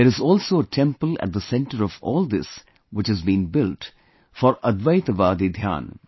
There is also a temple at the center of all this which has been built for Advaitwadi Dhyan